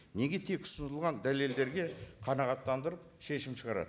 неге тек ұсынылған дәлелдерге қанағаттандырып шешім шығарады